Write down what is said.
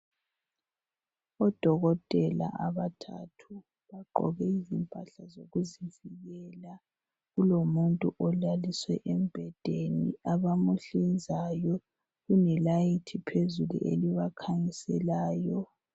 Odokotela abathathu bagqoke izimpahla zokuzivikela. Kulomuntu olaliswe embhedeni abamuhlinzayo, kulelayithi phezulu elibakhanyiselayo.